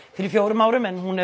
fyrir fjórum árum en hún hefur